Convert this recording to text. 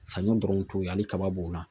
Saɲɔ dɔrɔn t'o ye hali kaba b'o la